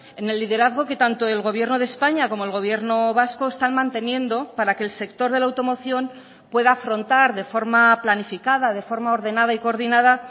en el liderazgo que tanto el gobierno de españa como el gobierno vasco están manteniendo para que el sector de la automoción pueda afrontar de forma planificada de forma ordenada y coordinada